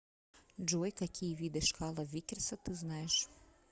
джой какие виды шкала виккерса ты знаешь